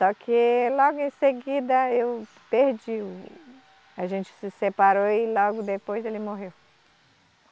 Só que logo em seguida eu perdi o, a gente se separou e logo depois ele morreu.